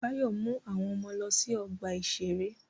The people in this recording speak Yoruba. Báyọ̀ mú àwọn ọmọ lọ sí ọgbà-ìṣeré